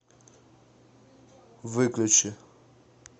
выключи